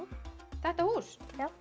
þetta hús